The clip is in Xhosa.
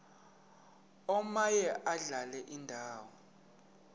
omaye adlale indawo